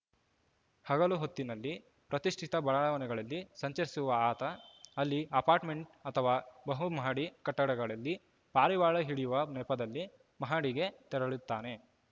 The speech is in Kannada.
ಹಗಲು ಹೊತ್ತಿನಲ್ಲಿ ಪ್ರತಿಷ್ಠಿತ ಬಡಾವಣೆಗಳಲ್ಲಿ ಸಂಚರಿಸುವ ಆತ ಅಲ್ಲಿ ಅಪಾರ್ಟ್‌ಮೆಂಟ್‌ ಅಥವಾ ಬಹುಮಹಡಿ ಕಟ್ಟಡಗಳಲ್ಲಿ ಪಾರಿವಾಳ ಹಿಡಿಯುವ ನೆಪದಲ್ಲಿ ಮಹಡಿಗೆ ತೆರಳುತ್ತಾನೆ